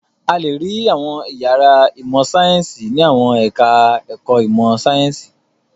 A le rí àwọn ìyàrá ìmọ̀-sáyẹ́ńsì ní àwọn ẹ̀ka-ẹ̀kọ́ ìmọ̀-sáyẹ́ńsì.